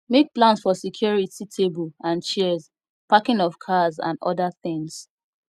make plans for security table and chairs parking of cars and oda things